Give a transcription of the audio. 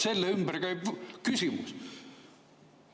Selle ümber käib.